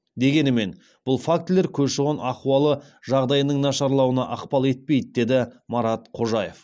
дегенімен бұл фактілер көші қон ахуалы жағдайының нашарлауына ықпал етпейді деді марат қожаев